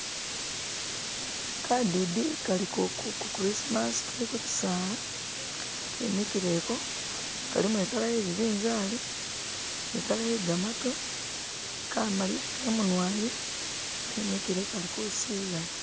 Kadidi kali ku kurismas turi ku kyisaala ki mikileko kalimo ikala ye bibinzali ni kala yegamatu kamaliyako imunwa yi kimikile kalikusilila